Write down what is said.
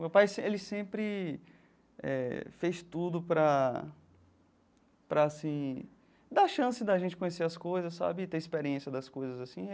Meu pai ele sempre eh fez tudo para para assim dar chance de a gente conhecer as coisas sabe, ter experiência das coisas assim.